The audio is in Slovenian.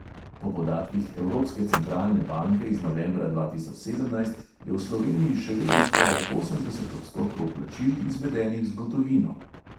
Po podatkih evropske centralne banke iz novembra dva tisoč sedemnajst je v sloveniji še vedno skoraj osemdeset odstotkov plačil izvedenih z gotovino.